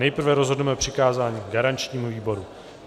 Nejprve rozhodneme o přikázání garančnímu výboru.